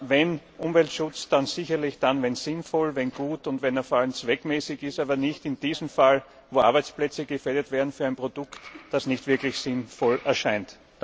Wenn Umweltschutz, dann sicherlich dann, wenn er sinnvoll, gut und vor allem zweckmäßig ist, aber nicht in diesem Fall, wo Arbeitsplätze gefährdet werden für ein Produkt, das nicht wirklich sinnvoll erscheint.